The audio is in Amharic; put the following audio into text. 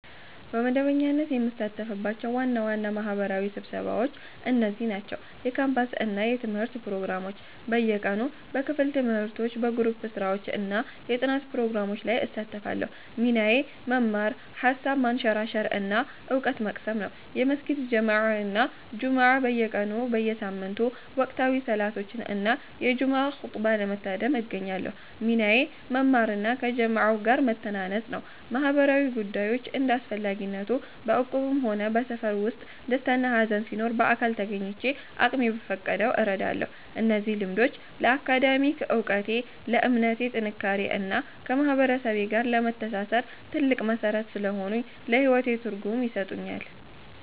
በመደበኛነት የምሳተፍባቸው ዋና ዋና ማህበራዊ ስብሰባዎች እነዚህ ናቸው፦ የካምፓስ እና የትምህርት ፕሮግራሞች (በየቀኑ)፦ በክፍል ትምህርቶች፣ በግሩፕ ስራዎች እና የጥናት ፕሮግራሞች ላይ እሳተፋለሁ። ሚናዬ መማር፣ ሃሳብ ማንሸራሸር እና እውቀት መቅሰም ነው። የመስጊድ ጀማዓ እና ጁምዓ (በየቀኑ/በየሳምንቱ)፦ ወቅታዊ ሰላቶችን እና የጁምዓ ኹጥባን ለመታደም እገኛለሁ። ሚናዬ መማር እና ከጀማዓው ጋር መተናነጽ ነው። ማህበራዊ ጉዳዮች (እንደ አስፈላጊነቱ)፦ በእቁብም ሆነ በሰፈር ውስጥ ደስታና ሃዘን ሲኖር በአካል ተገኝቼ አቅሜ በፈቀደው እረዳለሁ። እነዚህ ልምዶች ለአካዳሚክ እውቀቴ፣ ለእምነቴ ጥንካሬ እና ከማህበረሰቤ ጋር ለመተሳሰር ትልቅ መሠረት ስለሆኑኝ ለህይወቴ ትርጉም ይሰጡኛል።